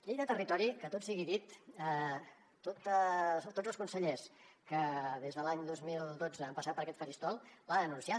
llei de territori que tot sigui dit tots els consellers que des de l’any dos mil dotze han passat per aquest faristol l’han anunciada